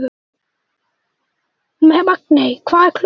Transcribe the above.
Magney, hvað er klukkan?